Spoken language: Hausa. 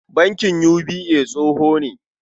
Bankin UBA tsoho ne.